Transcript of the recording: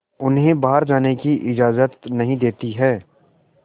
उन्हें बाहर जाने की इजाज़त नहीं देती है